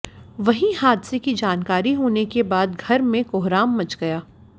वहीं हादसे की जानकारी होने के बाद घर में कोहराम मच गया